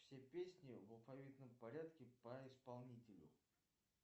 все песни в алфавитном порядке по исполнителю